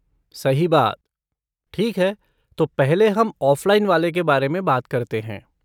सही बात, ठीक है, तो पहले हम ऑफ़लाइन वाले के बारे में बात करते हैं।